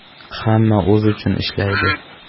Hamma o‘zi uchun ishlaydi.